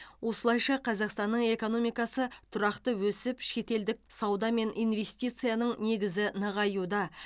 осылайша қазақстанның экономикасы тұрақты өсіп шетелдік сауда мен инвестицияның негізі нығаюда